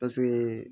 Paseke